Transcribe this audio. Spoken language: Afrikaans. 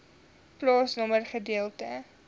plaasnommer gedeelte